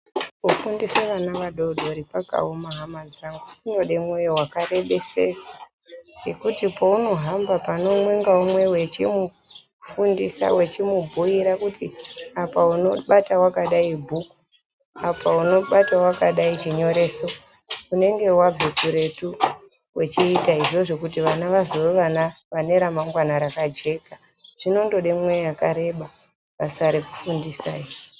Kufundise ana adori dori, kwakawoma hama dzangu, kunode mwoyo wakarebesesa ngekuti paunohamba paneumwe-ngeumwe uchimufundisa wechimubhuyira kuti apa unobata wakadai bhuku, apa unobata wakadai chinyoreso unenge wabva kure tuu! uchiita izvozvo kuti vana vazove vana vane ramagwana rakajeka. Zvinotode mwoyo wakareba basa rekufundisa iri.